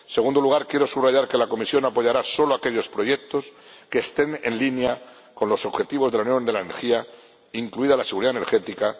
En segundo lugar, quiero subrayar que la Comisión apoyará solo aquellos proyectos que estén en línea con los objetivos de la Unión de la Energía, incluida la seguridad energética.